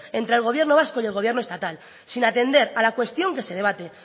entre el gobierno vasco y el gobierno estatal sin atender a la cuestión que se debate